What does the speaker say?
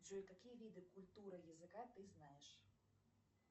джой какие виды культуры языка ты знаешь